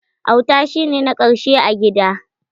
Auta shi ne na ƙarshe a gida.